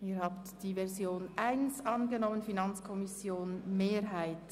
Sie haben der Planungserklärung 1 der FiKoMehrheit den Vorzug gegeben.